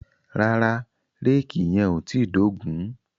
Rárá, réèkì yẹn ò tíì dógùn-ún.